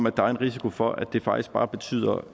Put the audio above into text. at der er risiko for at det faktisk bare betyder